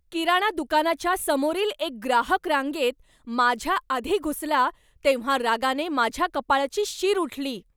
किराणा दुकानाच्या समोरील एक ग्राहक रांगेत माझ्याआधी घुसला तेव्हा रागाने माझ्या कपाळाची शीर उठली.